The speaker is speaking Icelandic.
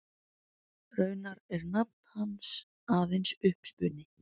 Raunar er nafn hans aðeins uppspuni.